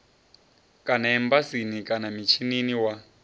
kana embasini kana mishinini wa